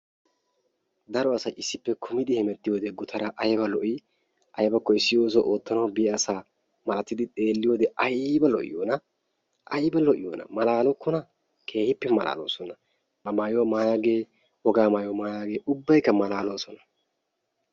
daro aasay issippe kummidi hemmetiyoode gutaraa ayba lo"ii? aybbakko issi oosuwaa oottanawu biyaa asaa millatidi xeeliyoode ayba lo'iyoonaa. ayba lo'iyoonaa malaalokkonaa! keehippe malaaloosona. ba mayuwaa maayagee wogaa mayuwaa mayaagee ubbaykka malaaloosona.